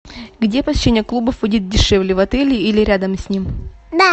где посещение клубов будет дешевле в отеле или рядом с ним